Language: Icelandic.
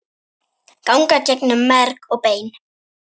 ganga gegnum merg og bein